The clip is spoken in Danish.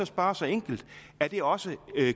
spørge så enkelt er det også